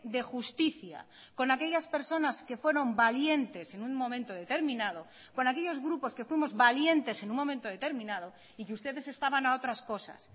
de justicia con aquellas personas que fueron valientes en un momento determinado con aquellos grupos que fuimos valientes en un momento determinado y que ustedes estaban a otras cosas